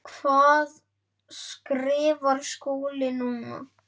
Hvað skrifar Skúli núna?